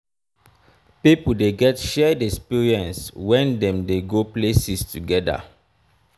pipio de get shared exprience when dem de go places together